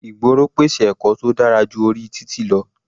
Ìgboro pèsè ẹ̀kọ́ tó dára ju orí títì lọ.